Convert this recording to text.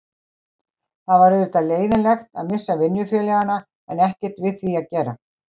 Það var auðvitað leiðinlegt, að missa vinnufélagana, en ekkert við því að gera.